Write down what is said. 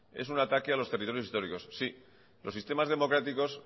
es un ataque a los territorios históricos